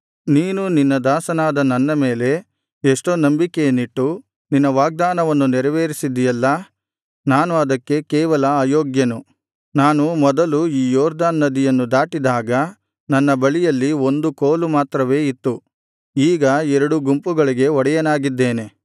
ನೀನು ನಿನ್ನ ದಾಸನಾದ ನನ್ನ ಮೇಲೆ ಎಷ್ಟೋ ನಂಬಿಕೆಯನ್ನಿಟ್ಟು ನಿನ್ನ ವಾಗ್ದಾನವನ್ನು ನೆರವೇರಿಸಿದ್ದೀಯಲ್ಲಾ ನಾನು ಅದಕ್ಕೆ ಕೇವಲ ಅಯೋಗ್ಯನು ನಾನು ಮೊದಲು ಈ ಯೊರ್ದನ್ ನದಿಯನ್ನು ದಾಟಿದಾಗ ನನ್ನ ಬಳಿಯಲ್ಲಿ ಒಂದು ಕೋಲು ಮಾತ್ರವೇ ಇತ್ತು ಈಗ ಎರಡು ಗುಂಪುಗಳಿಗೆ ಒಡೆಯನಾಗಿದ್ದೇನೆ